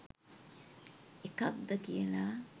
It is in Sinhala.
එකක්ද කියලා.